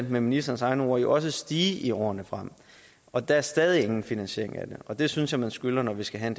med ministerens egne ord jo også fortsat stige i årene frem og der er stadig ingen finansiering af det og det synes jeg man skylder når vi skal have